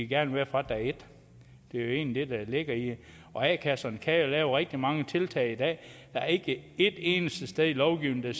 gerne være fra dag et det er jo egentlig det der ligger i det og a kasserne kan jo lave rigtig mange tiltag i dag der er ikke et eneste sted i lovgivningen